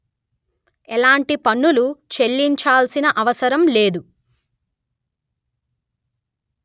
ఎలాంటి పన్నులు చెల్లించాల్సిన అవసరం లేదు